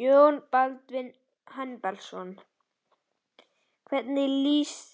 Jón Baldvin Hannibalsson: Hvernig lýst